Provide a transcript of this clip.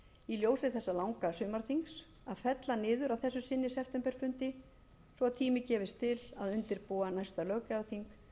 í ljósi þessa langa sumarþings að fella niður að þessu sinni septemberfundi svo að tími gefist til að undirbúa næsta löggjafarþing